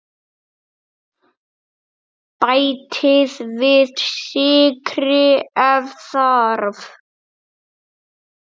Bætið við sykri ef þarf.